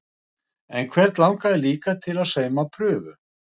En hvern langaði líka til að sauma prufu?